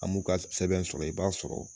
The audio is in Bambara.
A m'u ka sɛbɛn sɔrɔ i b'a sɔrɔ